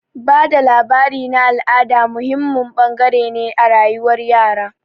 Ba da labari na al'ada muhimmin bangare ne a rayuwar yara.